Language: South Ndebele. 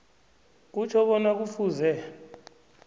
kutjho bona kufuze